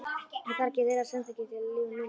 Ég þarf ekki þeirra samþykki til að lifa mínu lífi.